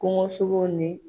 Kɔngɔsogow ni